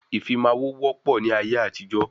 Ìfimawo wọ pọ ní ayé àtijó